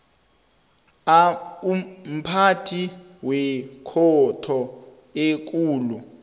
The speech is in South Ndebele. mphathi wekhotho ekulu